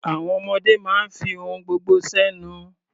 Àwọn ọmọdé máa ń fi ohun gbogbo sẹ́nu.